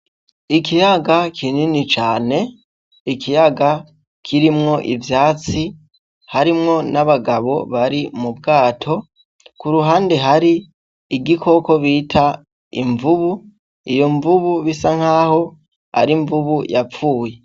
Ikiyaga kinini cane, ikiyaga kirimwo ivyatsi harimwo n'abagabo bari mu bwato, kuruhande hari igikoko bita imvubu, iyo mvubu bisa nkaho ari imvubu yapfuye.